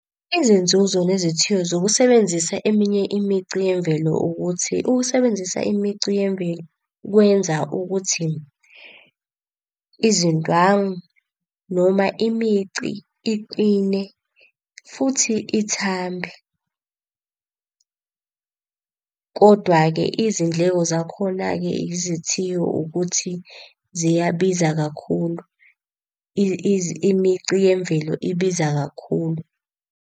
Izinzuzo nezithiyo zokusebenzisa eminye imicu yemvelo ukuthi, ukusebenzisa imici yemvelo kwenza ukuthi izindwangu noma imici iqine futhi ithambe. Kodwa-ke izindleko zakhona-ke izithiyo ukuthi ziyabiza kakhulu. Imici yemvelo ibiza kakhulu.